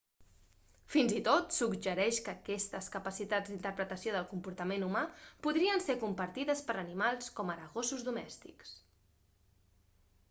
fins i tot suggereix que aquestes capacitats d'interpretació del comportament humà podrien ser compartides per animals com ara gossos domèstics